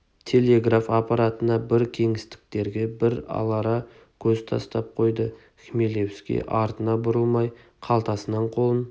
телеграф аппаратына бір кеңестіктерге бір алара көз тастап қойды хмелевский артына бұрылмай қалтасынан қолын